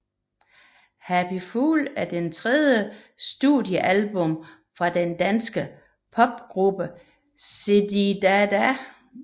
Happy Fool er det tredje studiealbum fra den danske popgruppe Zididada